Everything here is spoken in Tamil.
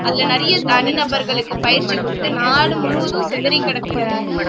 அதுல நிறைய தனி நபர்களுக்கு பயிற்சி கொடுத்து நாடு முழுவதும் சிதறிக்கிடக்கிற